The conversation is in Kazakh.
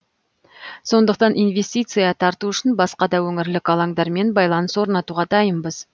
сондықтан инвестиция тарту үшін басқа да өңірлік алаңдармен байланыс орнатуға дайынбыз